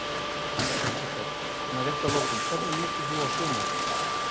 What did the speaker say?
Elísabet: Svona rétt að lokum, hvernig lítur þú á sumarið?